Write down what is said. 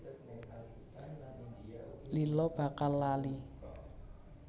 Lila bakal lali